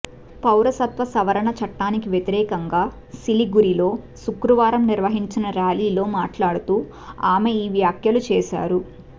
పౌరసత్వ సవరణ చట్టానికి వ్యతిరేకంగా సిలిగురిలో శుక్రవారం నిర్వహించిన ర్యాలీలో మాట్లాడుతూ ఆమె ఈ వ్యాఖ్యలు చేశారు